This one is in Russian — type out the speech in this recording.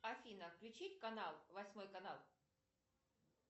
афина включить канал восьмой канал